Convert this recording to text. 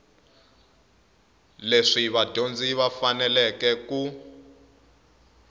leswi vadyondzi va faneleke ku